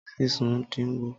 Sísun din wo?